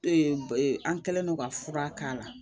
an kɛlen don ka fura k'a la